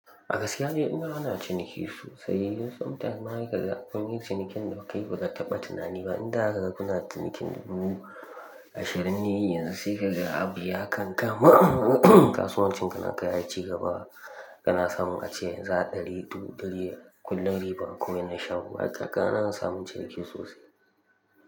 A gaskiya ni ina ana ciniki sosai. Yanzu sometime ma he kaga kun yi cinikin da kayi ba ka taɓa tunani ba. Inda zaka ga kuna cinikin dubu ashirin ne yanzu sai ka ga abu ya kan kama. Kasuwancin ka na ka ya ci gaba. Kana samun ace yanzu a ɗari dubu ɗari da kullum riba kumai na shago. Ba kaka na in samun ciniki sosai.